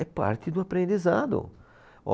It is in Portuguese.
É parte do aprendizado.